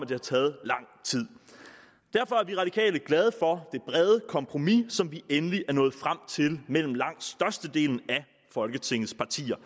det har taget lang tid derfor er de radikale glade for det brede kompromis som vi endelig er nået frem til mellem langt størstedelen af folketingets partier